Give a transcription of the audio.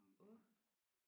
Åh